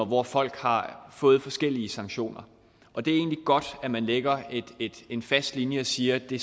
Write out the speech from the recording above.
hvor folk har fået forskellige sanktioner og det er egentlig godt at man lægger en fast linje og siger at det